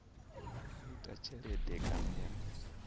u ita tshelede kana ya